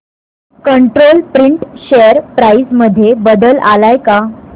control Print share price मध्ये बदल आलाय का